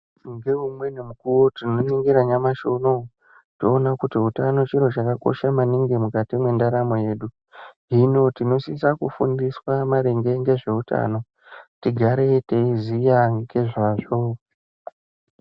Ngeumweni mukuwo tinoningira nyamashi unowu, toona kuti utano chiro chakakosha maningi mukati mwendaramo yedu. Hino tinosisa kufundiswa maringe ngezveutano, tigare teiziya ngezvazvo.